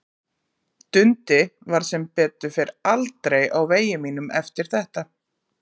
Dundi varð sem betur fer aldrei á vegi mínum eftir þetta.